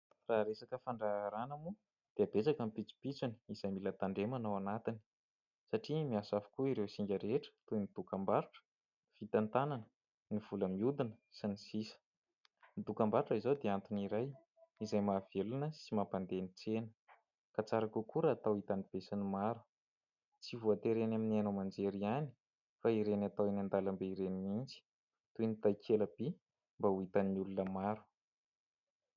Raha resaka fandraharana moa dia betsaka ny pitsopitsony izay mila tandremana ao anatiny satria miasa avokoa ireo singa rehetra toy ny : dokam-barotra, ny fitantanana, ny vola mihodina sy ny sisa. Ny dokam-barotra izao dia antony iray izay mahavelona sy mampandeha ny tsena ka tsara kokoa raha hatao hitan'ny be sy ny maro tsy voatery ny eny amin'ny haino aman-jery ihany fa ireny atao ihany an-dalam-be ireny mihintsy toy ny takela-by mba ho hitan'ny olona maro